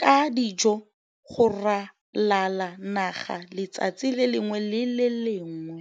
ka dijo go ralala naga letsatsi le lengwe le le lengwe.